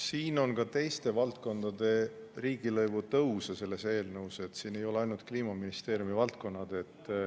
Siin on ka teiste valdkondade riigilõivude tõus selles eelnõus, siin ei ole ainult Kliimaministeeriumi valdkonnad.